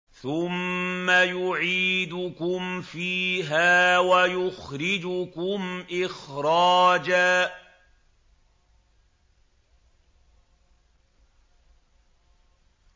ثُمَّ يُعِيدُكُمْ فِيهَا وَيُخْرِجُكُمْ إِخْرَاجًا